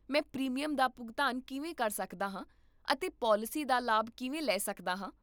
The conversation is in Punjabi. ਮੈਂ ਪ੍ਰੀਮੀਅਮ ਦਾ ਭੁਗਤਾਨ ਕਿਵੇਂ ਕਰ ਸਕਦਾ ਹਾਂ ਅਤੇ ਪਾਲਿਸੀ ਦਾ ਲਾਭ ਕਿਵੇਂ ਲੈ ਸਕਦਾ ਹਾਂ?